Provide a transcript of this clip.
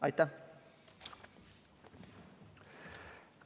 Aitäh!